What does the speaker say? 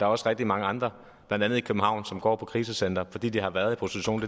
også rigtig mange andre blandt andet i københavn som går på krisecenter fordi de har været i prostitution